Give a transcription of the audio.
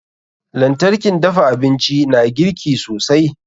lantarkin dafa abinci na girki da sauri.